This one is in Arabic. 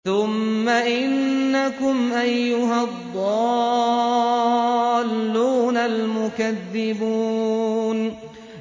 ثُمَّ إِنَّكُمْ أَيُّهَا الضَّالُّونَ الْمُكَذِّبُونَ